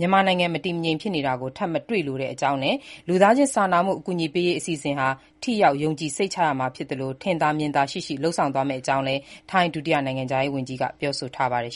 မြန်မာနိုင်ငံ မတည်မငြိမ် ဖြစ်တာကို ထပ်မတွေ့လိုတဲ့အကြောင်းနဲ့ လူသားချင်းစာနာမှု အကူအညီပေးရေး အစီအစဉ်ဟာ ထိရောက်၊ ယုံကြည်စိတ်ချရမှာ ဖြစ်သလို ထင်သာမြင်သာ ရှိရှိ လုပ်ဆောင်သွားမဲ့အကြောင်းလည်း ထိုင်း ဒုတိယနိုင်ငံခြားရေးဝန်ကြီးက ပြောဆိုပါတယ်